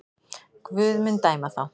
Guð mun dæma þá.